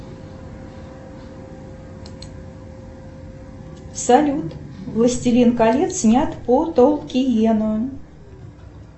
салют властелин колец снят по толкиену